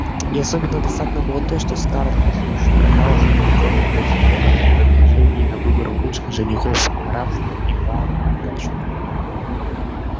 и особенно досадно было то что скарлетт всё ещё казалась удручённой после того как он предложил ей на выбор лучших женихов графства и тару в придачу